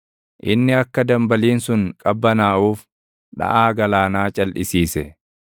Inni akka dambaliin sun qabbanaaʼuuf dhaʼaa galaanaa calʼisiise.